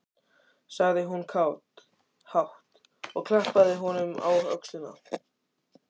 sagði hún hátt, og klappaði honum á öxlina.